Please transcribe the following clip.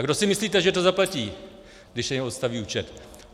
A kdo si myslíte, že to zaplatí, když se jim obstaví účet?